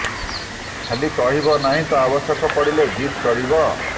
ଖାଲି କହିବ ନାହିଁ ତ ଆବଶ୍ୟକ ପଡ଼ିଲେ ଜିଦ୍ କରିବ